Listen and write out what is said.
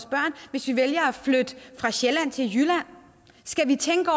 hvis vi vælger at flytte fra sjælland til jylland skal vi tænke